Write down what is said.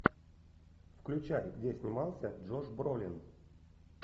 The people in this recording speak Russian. включай где снимался джош бролин